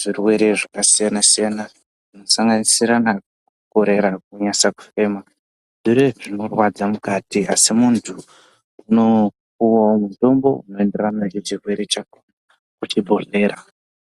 zvirwere zvakasiyana-siyana zvinosanganisira kukorera kunasa kufema, zvinorwadza mukati asi munthu unopuwawo mutombo unoenderana nacho chirwere chako kuchibhedhlera.